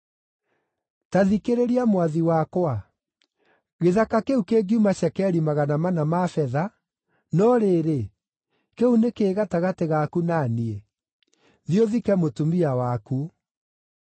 “Ta thikĩrĩria, mwathi wakwa; gĩthaka kĩu kĩngiuma cekeri magana mana ma betha, no rĩrĩ, kĩu nĩ kĩĩ gatagatĩ gaku na niĩ? Thiĩ ũthike mũtumia waku.”